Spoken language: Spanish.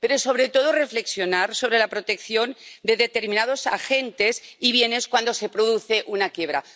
Pero, sobre todo, tenemos que reflexionar sobre la protección de determinados agentes y bienes cuando se produce una quiebra.